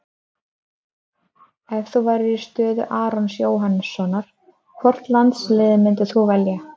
Ef þú værir í stöðu Arons Jóhannssonar, hvort landsliðið myndir þú velja?